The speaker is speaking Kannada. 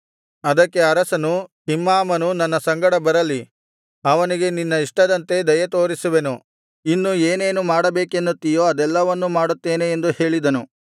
ಅದಕ್ಕೆ ಅರಸನು ಕಿಮ್ಹಾಮನು ನನ್ನ ಸಂಗಡ ಬರಲಿ ಅವನಿಗೆ ನಿನ್ನ ಇಷ್ಟದಂತೆ ದಯೆತೋರಿಸುವೆನು ಇನ್ನು ಏನೇನು ಮಾಡಬೇಕೆನ್ನುತ್ತಿಯೋ ಅದೆಲ್ಲವನ್ನೂ ಮಾಡುತ್ತೇನೆ ಎಂದು ಹೇಳಿದನು